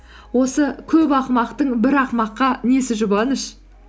осы көп ақымақтың бір ақымаққа несі жұбаныш